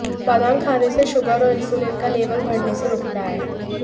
बादाम खाने से शुगर और इंसुलिन का लेवल बढ़ने से रुकता है